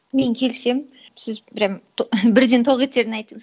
мен келісемін сіз прямо бірден тоқетерін айттыңыз